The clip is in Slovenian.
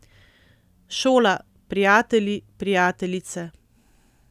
Šola, prijatelji, prijateljice.